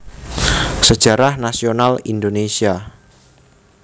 Sejarah Nasional Indonesia